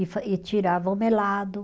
E fa e tirava o melado.